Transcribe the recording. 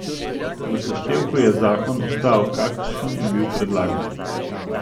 V seštevku je zakon ostal, kakršen je bil predlagan.